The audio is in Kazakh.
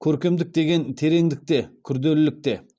көркемдік деген тереңдікте күрделілікте